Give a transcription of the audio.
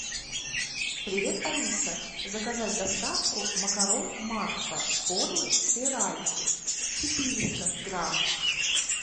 привет алиса заказать доставку макарон макфа формы спиральки четыреста грамм